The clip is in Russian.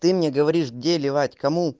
ты мне говоришь где ливать кому